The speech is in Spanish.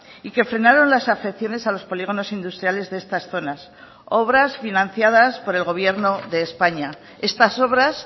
y que frenaron las afecciones a los polígonos industriales de estas zonas obras financiadas por el gobierno de españa estas obras